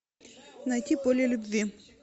найти поле любви